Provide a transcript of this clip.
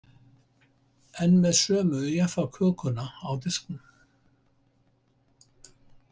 Enn með sömu Jaffakökuna á disknum.